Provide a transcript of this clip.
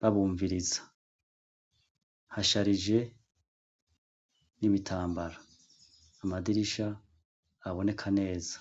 babumviriza hasharije n'imitambara amadirisha aboneka neza.